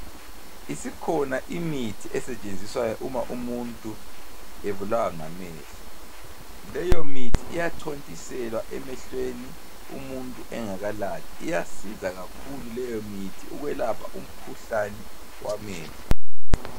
Isikhona imithi esetshenziswayo uma umuntu ebulawa ngamehlo. Leyo mithi iyathontiselwa emehlweni umuntu engakalali. Iyasiza kakhulu leyo mithi ukwelapha umkhuhlane wamehlo.